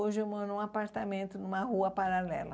Hoje eu moro num apartamento numa rua paralela.